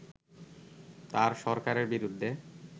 তার সরকারের বিরুদ্ধে